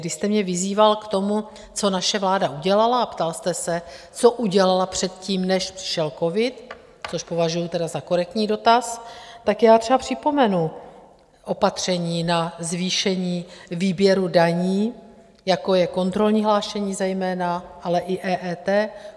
Když jste mě vyzýval k tomu, co naše vláda udělala, a ptal jste se, co udělala předtím, než přišel covid, což považuji tedy za korektní dotaz, tak já třeba připomenu opatření na zvýšení výběru daní, jako je kontrolní hlášení zejména, ale i EET.